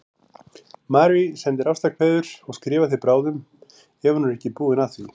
Marie sendir ástarkveðjur og skrifar þér bráðum ef hún er ekki búin að því.